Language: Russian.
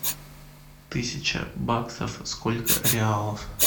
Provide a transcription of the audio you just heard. тысяча баксов сколько реалов